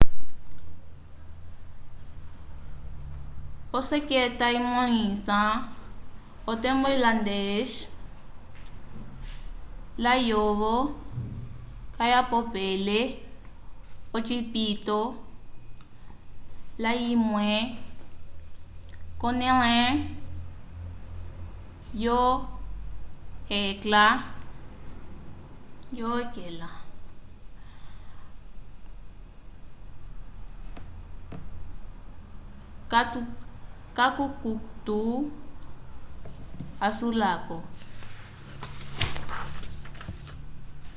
oseketa imõlisa otembo islandês layovo kayapopele ocipito layimwe k'onẽle yo hekla k'akukutu asulako